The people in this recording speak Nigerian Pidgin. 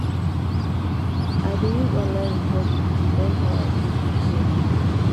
i dey use online resources to learn how i fit do caregiving.